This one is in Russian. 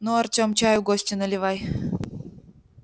ну артем чаю гостю наливай